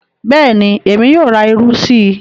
Bẹ́ẹ̀ni, Èmi yóò rà ìrù sí.